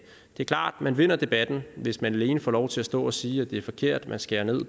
er klart man vinder debatten hvis man alene får lov til at stå og sige at det er forkert man skærer ned i